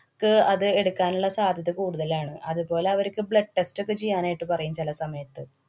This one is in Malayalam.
ക്~ അത് എടുക്കാനുള്ള സാധ്യത കൂടുതലാണ്. അതേപോലെ, അവര്ക്ക് blood test ഒക്കെ ചെയ്യാനായിട്ട് പറയും ചെല സമയത്ത്.